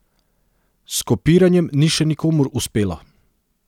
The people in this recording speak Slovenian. S kopiranjem ni še nikomur uspelo.